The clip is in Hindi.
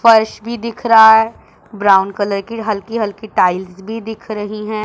फर्श भी दिख रहा है ब्राउन कलर की हल्की हल्की टाईल्स भी दिख रही हैं।